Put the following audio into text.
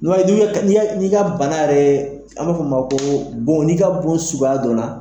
N'i b'a ye n'i be ka n'i y'a y n'i ka bana yɛrɛɛ an b'a f'ɔ ma koo bon n'i ka bon suguga dɔnna